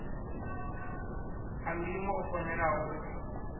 a ndimo o fanelaho u